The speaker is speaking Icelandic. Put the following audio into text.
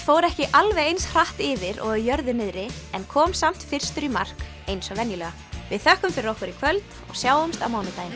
fór ekki alveg eins hratt yfir og á jörðu niðri en kom samt fyrstur í mark eins og venjulega við þökkum fyrir okkur í kvöld og sjáumst á mánudaginn